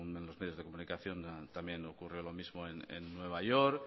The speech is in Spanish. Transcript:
nueve según los medios de comunicación también ocurrió lo mismo en nueva york